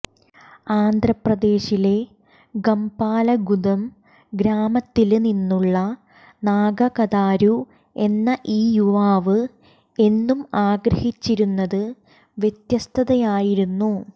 ആന്ധ്ര പ്രദേശിലെ ഗംപലഗുദെം ഗ്രാമത്തില് നിന്നുള്ള നാഗ കതാരു എന്ന ഈ യുവാവ് എന്നും ആഗ്രഹിച്ചിരുന്നത് വ്യത്യസ്തതയായിരുന്നു